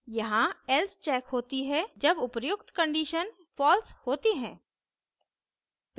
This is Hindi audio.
यहाँ else checked होती है जब उपर्युक्त conditions false होती हैं